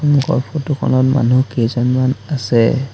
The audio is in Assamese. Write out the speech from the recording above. সন্মুখৰ ফটো খনত মানুহ কেইজনমান আছে।